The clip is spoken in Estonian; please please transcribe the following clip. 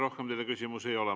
Rohkem teile küsimusi ei ole.